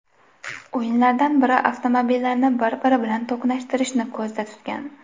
O‘yinlardan biri avtomobillarni bir-biri bilan to‘qnashtirishni ko‘zda tutgan.